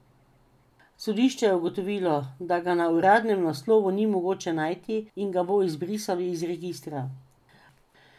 Sodišče je ugotovilo, da ga na uradnem naslovu ni mogoče najti in ga bo izbrisalo iz registra.